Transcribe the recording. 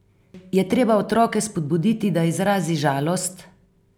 Je treba otroke spodbuditi, da izrazi žalost?